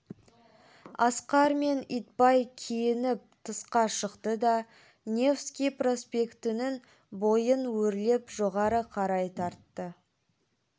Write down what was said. асқар мен итбай киініп тысқа шықты да невский проспектінің бойын өрлеп жоғары қарай тартты